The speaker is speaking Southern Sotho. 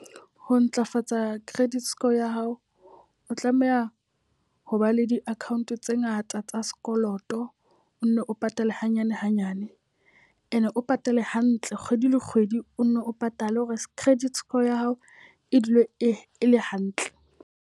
Ho ntlafatsa credit score ya hao, o tlameha ho ba le di-account tse ngata tsa sekoloto. O nne o patale hanyane hanyane. E ne o patala hantle kgwedi le kgwedi, o nne o patale hore credit score ya hao e dule e le hantle.